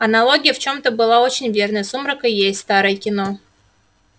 аналогия в чем-то была очень верной сумрак и есть старое кино